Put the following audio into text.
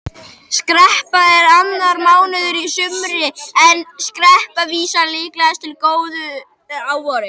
Skerpla er annar mánuður í sumri en skerpla vísar líklegast til lítils gróðurs að vori.